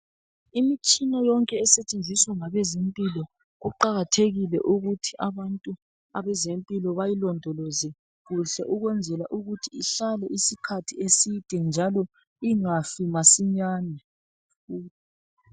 Imitshina yonke esetshenziswa ngabezempilo kuqakathekile ukuthi abantu abezempilo bayilondoloze kuhle ukwenzela ukuthi ihlale isikhathi eside njalo ingafi masinyane.